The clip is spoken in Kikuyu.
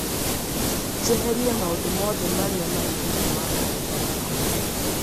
njehererie maũndũ mothe marĩa marĩ thĩinĩ wa kalendarĩ yakwa